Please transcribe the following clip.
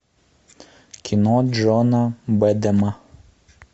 кино джона бедена